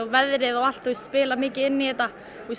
veðrið og allt spilar mikið inn í þetta